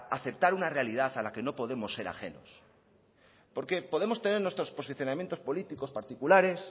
aceptar una realidad a la que no podemos ser ajemos porque podremos tener nuestros posicionamientos políticos particulares